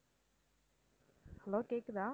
hello கேக்குதா?